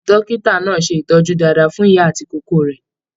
Dókítà náà ṣe ìtọjú dáadáa fún ìyá àti ìkókó rẹ.